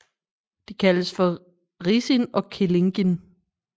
De kaldes for Risin og Kellingin